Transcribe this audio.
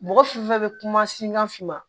Mɔgɔ fɛn fɛn bɛ kuma singa fin ma